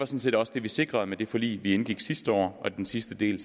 set også det vi sikrede med det forlig vi indgik sidste år og den sidste del